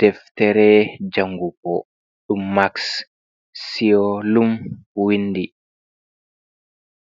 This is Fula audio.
Deftere jangugo ɗum max siolum windi